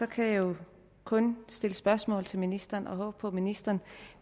kan jeg jo kun stille spørgsmål til ministeren og håbe på at ministeren